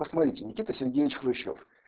посмотрите никита сергеевич хрущёв